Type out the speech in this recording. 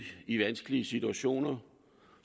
i vanskelige situationer